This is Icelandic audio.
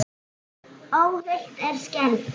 Óhult en skelfd.